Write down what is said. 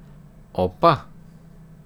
Opa!